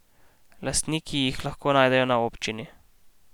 Lastniki jih lahko najdejo na občini.